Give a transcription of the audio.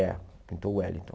É, pintou o Wellington.